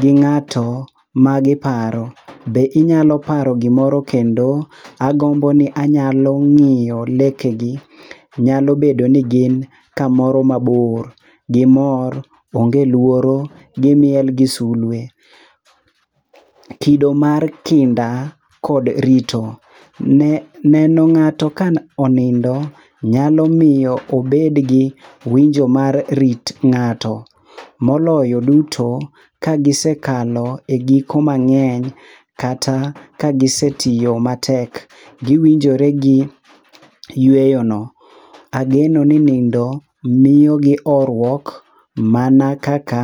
gi ng'ato ma giparo, be inyalo paro gimoro kendo? Agombo ni anyalo ng'iyo leke gi. Nyalo bedo ni gin kamoro mabor gimor, onge luoro, gimiel gi sulwe. Kido mar kinda kod rito- neno ng'ato ka onindo nyalo miyo obed gi winjo mar rit ng'ato. Moloyo duto ka gisekalo e giko mang'eny kata ka gisetiyo matek. Giwinjore gi yweyo no. Ageno ni nindo miyo gi horuok, mana kaka...